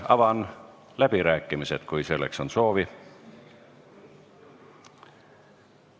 Avan läbirääkimised, kui on kõnesoovi.